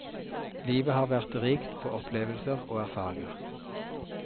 Livet har vært rikt på opplevelser og erfaringer.